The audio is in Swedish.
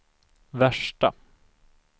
värsta